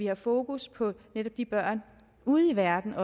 har fokus på de børn ude i verden